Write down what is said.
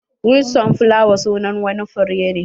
Wild sunflower sunan wani fure ne.